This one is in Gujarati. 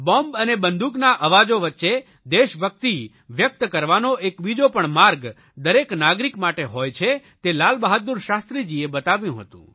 બોંબ અને બંદૂકના અવાજો વચ્ચે દેશભકિત વ્યકત કરવાનો એક બીજો પણ માર્ગ દરેક નાગરિક માટે હોય છે તે લાલ બહાદુર શાસ્ત્રીજીએ બતાવ્યો હતો